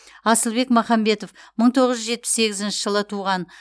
асылбек махамбетов мың тоғыз жүз жетпіс сегізінші жылы туған